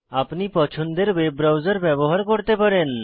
আপনি পছন্দের web browser ব্যবহার করতে পারেন